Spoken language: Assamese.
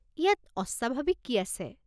ইয়াত অস্বাভাৱিক কি আছে?